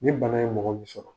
Ni bana ye mɔgɔ min sɔrɔ.